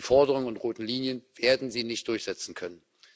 Die Forderungen und roten Linien werden Sie nicht durchsetzen können.